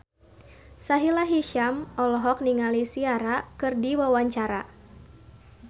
Sahila Hisyam olohok ningali Ciara keur diwawancara